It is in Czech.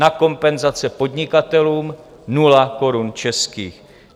Na kompenzace podnikatelům - nula korun českých.